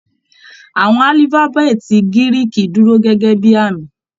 Àwọn alifabeeti Giriki dúró gẹgẹ bíi àmì.